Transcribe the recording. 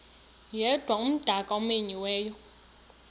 yedwa umdaka omenyiweyo